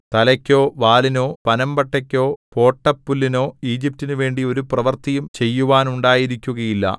തലയ്ക്കോ വാലിനോ പനമ്പട്ടയ്ക്കോ പോട്ടപ്പുല്ലിനോ ഈജിപ്റ്റിനുവേണ്ടി ഒരു പ്രവൃത്തിയും ചെയ്യുവാനുണ്ടായിരിക്കുകയില്ല